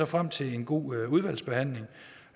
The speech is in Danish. frem til en god udvalgsbehandling